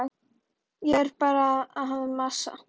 Ég er bara að masa.